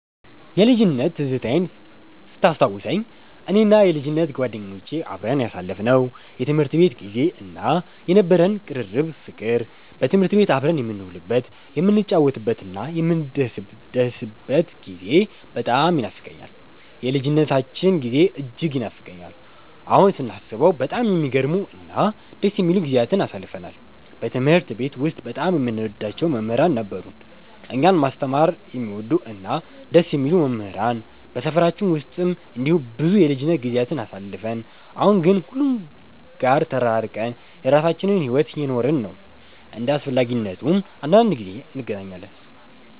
የልጅነት ትዝታዬን ስታስታውሰኝ፣ እኔና የልጅነት ጓደኞቼ አብረን ያሳለፍነው የትምህርት ቤት ጊዜ እና የነበረን ቅርርብ ፍቅር፣ በትምህርት ቤት አብረን የምንውልበት፣ የምንጫወትበትና የምንደሰትበት ጊዜ በጣም ይኖፋቀኛል። የልጅነታችን ጊዜ እጅግ ይናፍቀኛል። አሁን ስናስበው በጣም የሚገርሙ እና ደስ የሚሉ ጊዜያትን አሳልፈናል። በትምህርት ቤት ውስጥ በጣም የምንወዳቸው መምህራን ነበሩን፤ እኛን ማስተማር የሚወዱ እና ደስ የሚሉ መምህራን። በሰፈራችን ውስጥም እንደዚሁ ብዙ የልጅነት ጊዜያትን አሳልፈን፣ አሁን ግን ሁሉም ጋር ተራርቀን የራሳችንን ሕይወት እየኖርን ነው። እንደ አስፈላጊነቱም አንዳንዴ እንገናኛለን።